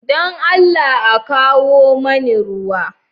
Don Allah a kawo mani ruwa.